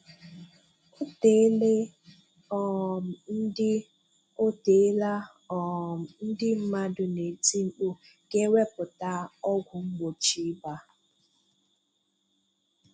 Oteela um ndị Oteela um ndị mmadụ na-eti mkpu ka ewepụta ọgwụ mgbochi ịba